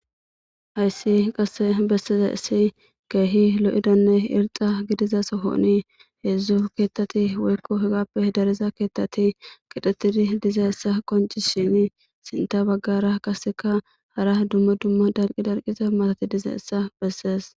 ayssi qasse besseza issi keehi lo7idanne irxa gidiza sohooni heedzdzu keettati woykko hegappe dareza keettati kidetidi diza issa qonci shinii sinta baggara kaseka hara dumma dumma darqi darqiza matati diza issa bessees